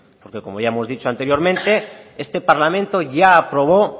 porque como ya hemos dicho anteriormente este parlamento ya aprobó